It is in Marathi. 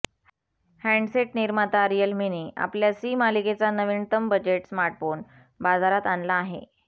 हँडसेट निर्माता रियलमीने आपल्या सी मालिकेचा नवीनतम बजेट स्मार्टफोन बाजारात आणला आहे